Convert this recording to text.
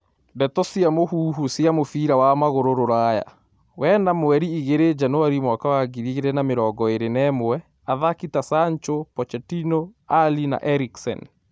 Ndeto cia mũhuhu cia mũbira wa magũrũ ruraya , wena mweri igĩrĩ januari mwaka wa ngiri igĩrĩ na mĩrongo ĩrĩ na ĩmwe :athaki ta Sancho , pochettino, Alli na Ericksen.